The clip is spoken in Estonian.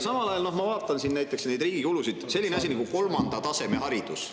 Samal ajal ma vaatan näiteks riigi kulusid sellisele asjale nagu kolmanda taseme haridus.